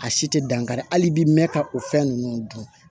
A si tɛ dankari hali i bi mɛn ka o fɛn ninnu dun